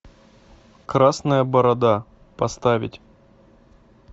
красная борода поставить